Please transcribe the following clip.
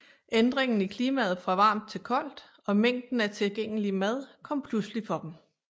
Ændringen i klimaet fra varmt til koldt og mængden af tilgængelig mad kom pludselig for dem